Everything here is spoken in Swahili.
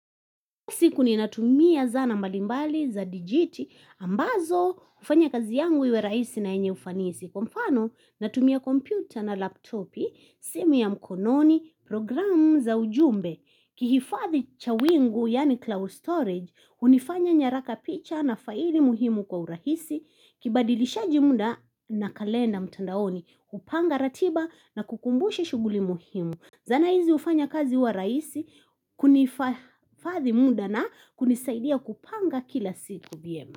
Siku ni natumia zana mbalimbali za digiti, ambazo hufanya kazi yangu iwe rahisi na yenye ufanisi. Kwa mfano, natumia kompyuta na laptopi, simu ya mkononi, programu za ujumbe. Kihifadhi cha wingu, yaani cloud storage, hunifanya nyaraka picha na faili muhimu kwa urahisi, kibadilishaji muda na kalenda mtandaoni, hupanga ratiba na kukumbusha shughuli muhimu. Zana hizi hufanya kazi huwa rahisi kunifadhi muda na kunisaidia kupanga kila siku vyema.